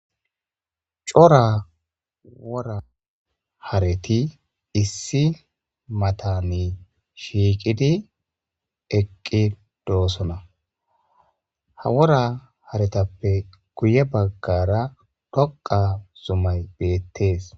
Cora wora hareti issi matani shiiqidi eqqi doosona ha wora haretappe guye baggara dhoqa zumay beettees.